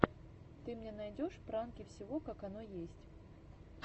ты мне найдешь пранки всего как оно есть